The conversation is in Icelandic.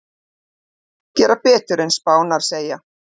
Gera betur en spárnar segja